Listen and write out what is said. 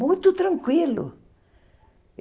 Muito tranquilo.